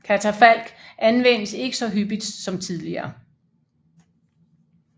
Katafalk anvendes ikke så hyppigt som tidligere